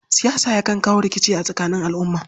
Siyasa yakan kawo rikici a tsakanin al'umma.